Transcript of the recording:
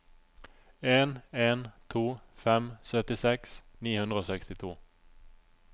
en en to fem syttiseks ni hundre og sekstito